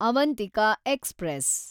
Avantika express